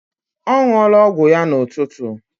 Ọ ṅụọla ọgwụ ya n'ụtụtụ.